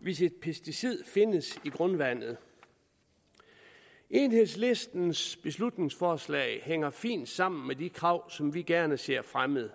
hvis et pesticid findes i grundvandet enhedslistens beslutningsforslag hænger fint sammen med de krav som vi gerne ser fremmet